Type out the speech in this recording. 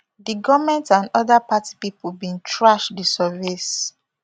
di goment and oda party pipo bin trash di surveys